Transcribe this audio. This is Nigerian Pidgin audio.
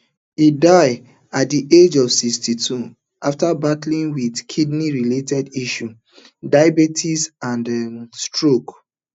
e die um at di age of sixty-two afta battle wit kidney related issues diabetes and um stroke